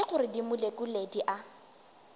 ke gore dimolekule di a